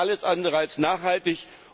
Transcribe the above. Das ist alles andere als nachhaltig!